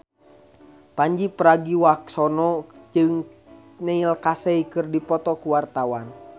Pandji Pragiwaksono jeung Neil Casey keur dipoto ku wartawan